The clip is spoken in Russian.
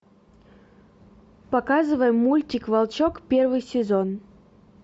показывай мультик волчок первый сезон